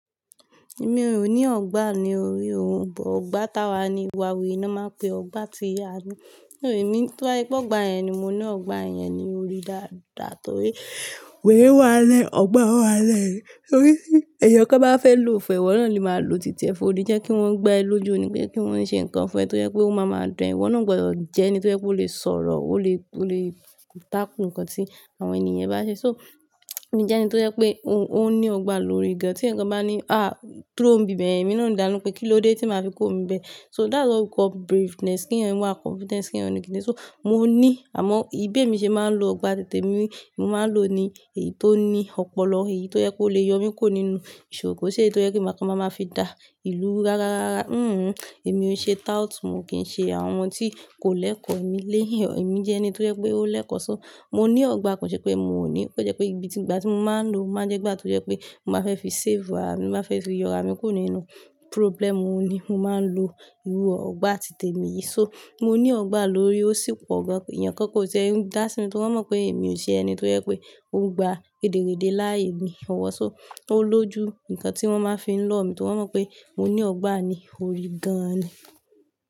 Èmi ò ní ọgbà ní orí òun, bọ̀ ọgbà tawa ni ìwà wèrè ni wón máa ń pe ọgbà tí a ni. Tó bá jẹ pé ọgbà yẹn ni mo ní ọgbà yẹn ni orí dáadáa torí wèrè wà lẹ́, ọgbà wà lẹ́. Torí èèyàn kan bá fẹ́ lo fún e, ìwọ náà ni máa lo títẹ fun, o ni jẹ́ kí wọ́n gba ẹ lójú ni pé kí wọ́n ṣe nǹkan fún ẹ torí pé ó máa máa dán ẹ. Ìwọ náà gbọdọ̀ jẹ́ ẹni tó jẹ́ pé ó lè sọ̀rọ̀, ó lè, ó lè tako ǹkan tí àwọn ènìyàn bá ṣe. So, èmi jẹ́ ẹni tó jẹ́ pé òun, òun ní ọgbà lórí gan-an. Tí ẹnìkan bá ní, "Ah, kúrò ní bi bẹ̀yen Èmi náà ó dá lóhùn pé kí ló dé tí màá fi kúrò n bẹ́. So that's what we call braveness k'eyan wà confidence k'eyan ni kíni. So, mo ní, àmọ́ bi emi ṣe máa ń lo ọgbà titèmi. Mo máa ń lo ní èyí tó ní ọpọlọ, èyí tó jẹ́ pé ó lè yọ mí kó nínú ìṣòro, ko i ṣe èyí tó jẹ́ pé màá kan màá fi dá ìlú ru rárárá. Hmm-mm, èmi ò ṣe tout, mo kì í ṣe àwọn ohun tí kò lẹ́kọ̀ọ́ èmi léhìn. Ẹ̀mi jẹ́ ẹni tó jẹ́ pé ó lẹ́kọ̀ọ́. So mo ní ọgbà kon ṣe pé mo ò ní. Ó jẹ́ pé ibi tí, ìgbà tí mo máa ń lo, o máa jẹ́ ìgbà tó jẹ́ pé mo máa fẹ́ fi save ara mi, mo máa fẹ́ fi yọ ara mi kuró nínú problem, òun ni mo máa ń lo irú ọgbà titemi yìí. So mo ní ọgbà lórí, ó sì pọ̀ gan. Ẹ̀yàn kankan o tie n dá sí mi torí wọ́n mọ̀ pé èmi ò ṣe ẹni tó jẹ́ pé ó ń gba rèdèréde láayé mi ọ̀wọ̀. So ó lójú nǹkan tí wọ́n máa fi ń lọ̀ mí torí wọ́n mọ̀ pé mo ní ọgbà ní orí gan-an ni.